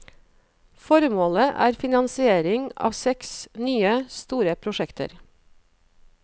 Formålet er finansiering av seks nye, store prosjekter.